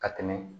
Ka tɛmɛ